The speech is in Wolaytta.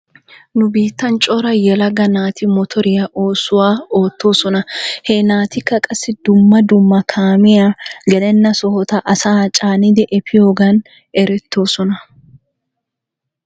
Nu biittan cora yelaga naati motoriyaa oosuwaa oottoosona. He naatikka qassi dumma dumma kaamiyee gele sohota asaa caanidi efiyoogan eretoosona.